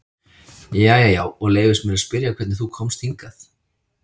Jæja já, og leyfist mér að spyrja hvernig þú komst hingað?